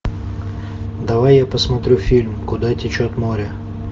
давай я посмотрю фильм куда течет море